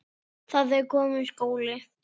Það er kominn skóli.